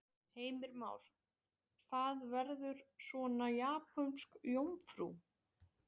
Heimir Már: Það verður svona japönsk jómfrú?